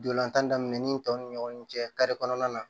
Dolantan daminɛn ni tɔw ni ɲɔgɔn cɛ kɔnɔna na